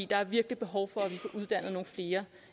der er virkelig behov for at vi får uddannet nogle flere